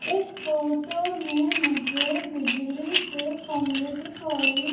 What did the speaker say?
इस फोटो में मुझे बिजली के खंभे दिखाई--